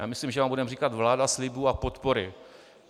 Já myslím, že vám budeme říkal vláda slibů a podpory.